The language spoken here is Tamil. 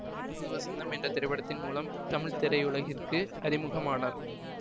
புது வசந்தம் என்ற திரைப்படத்தின் மூலம் தமிழ் திரையுலகிற்கு அறிமுகமானார்